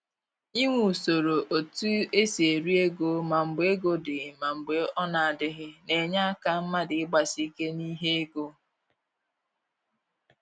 Inwe usoro e tu esi eri ego ma mgbe ego dị ma mgbe ọ na adịghị, na-enye aka mmadụ ịgbasi ike n'ihe ego